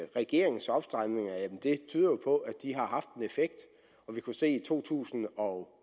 regeringens opstramninger har haft en effekt vi kunne se i to tusind og